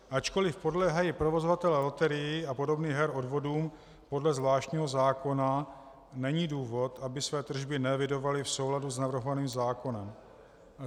Ačkoli podléhají provozovatelé loterií a podobných her odvodům podle zvláštního zákona, není důvod, aby své tržby neevidovali v souladu s navrhovaným zákonem.